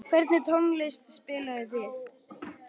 Hvernig tónlist spilið þið?